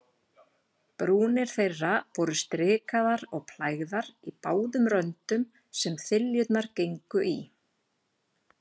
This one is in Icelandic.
Brúnir þeirra voru strikaðar og plægðar í báðum röndum, sem þiljurnar gengu í.